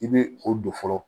I bɛ o don fɔlɔ